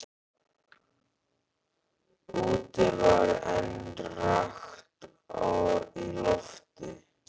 Úti var enn rakt í lofti.